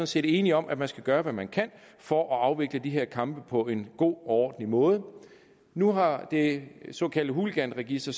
set enige om at man skal gøre hvad man kan for at afvikle de her kampe på en god og ordentlig måde nu har det såkaldte hooliganregister